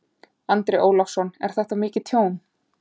Andri Ólafsson: Er þetta mikið tjón?